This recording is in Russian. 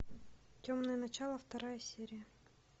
темное начало вторая серия